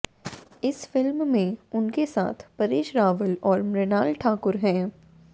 इस फिल्म में उनके साथ परेश रावल और मृणाल ठाकुर हैं